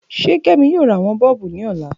Ṣe kemi yoo ra awọn isubu ni ọla?